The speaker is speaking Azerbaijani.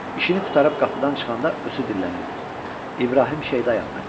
İşini qurtarıb qapıdan çıxanda özü dillənirdi: İbrahim Şeydayam mən.